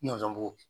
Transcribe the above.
Nɔnzɔn b'o